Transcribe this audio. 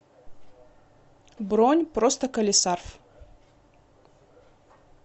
бронь простоколесарф